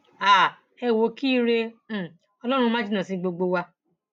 um ẹ wò ó kí ire um ọlọrun má jìnnà sí gbogbo wa